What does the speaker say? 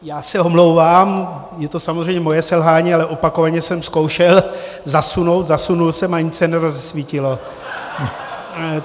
Já se omlouvám, je to samozřejmě moje selhání, ale opakovaně jsem zkoušel zasunout, zasunul jsem a nic se nerozsvítilo.